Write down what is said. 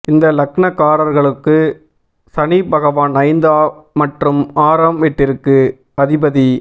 இந்த லக்னகாரர்களுக்கு சனிபகவான் ஐந்து மற்றும் ஆறாம் விட்டிற்கு அதிபதி